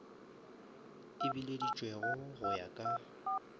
e bileditšwego go ya ka